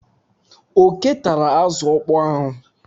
Oké tara azụ ọkpọọ ahụ.